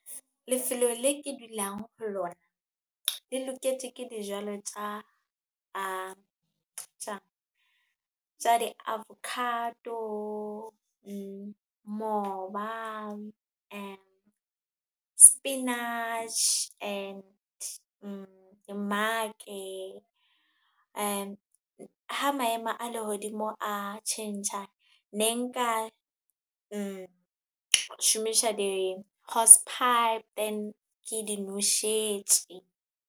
Lefelo le ke dulang ho lona, le loketje ke dijalo tja di-avocado, mmoba, spinach and dimmake . Ha maemo a lehodimo a tjhentjha, ne nka shomisha di-horse-pipe then ke di noshetje.